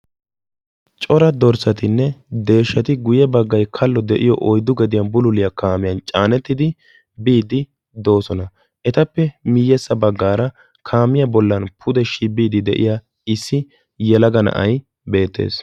Cora dorssatinne deeshshati guye baggay kalo de'iyoo oyddu gediyaan bululiyaa kaamiyaan caanettidi biiddi doosona. etappe miyessa baggaara kaamiyaa bollan pude shibbiidi de'iyaa issi yelaga na'ay beettees.